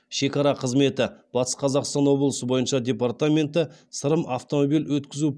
шекара қызметі батыс қазақстан облысы бойынша департаменті сырым автомобиль өткізу